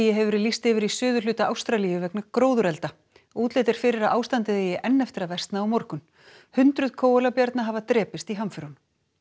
hefur verið lýst yfir í suðurhluta Ástralíu vegna gróðurelda útlit er fyrir að ástandið eigi enn eftir að versna á morgun hundruð hafa drepist í hamförunum